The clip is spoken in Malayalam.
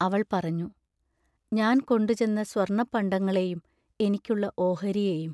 അവൾ പറഞ്ഞു: ഞാൻ കൊണ്ടുചെന്ന സ്വർണപ്പണ്ടങ്ങളെയും എനിക്കുള്ള ഓഹരിയെയും.